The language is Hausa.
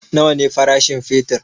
Nawa ne farashin fetur?